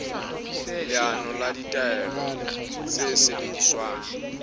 leano le ditaelo tse sebediswang